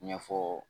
Ɲɛfɔ